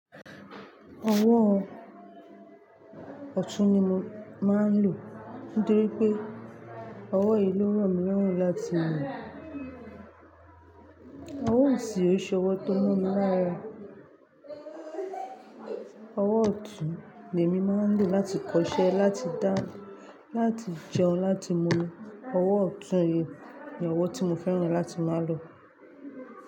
Ọwọ́ ọ̀tún ni mo máa ń lò. Torí pé ọwọ́ yìí ló ro mí lọ́run láti mú. Ọwọ́ òsì ò ṣe ọwọ́ tó mo mi lára. Ọwọ́ ọ̀tún ni èmi máa ń lò láti kọṣẹ́, láti dá, láti jẹun, láti mú. Ọwọ́ ọ̀tún yìí ni ọwọ́ tí mo fẹ́ràn láti máa lò.